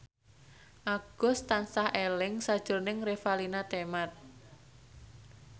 Agus tansah eling sakjroning Revalina Temat